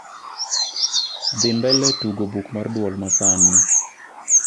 dhi mbele tugo buk mar duol ma sani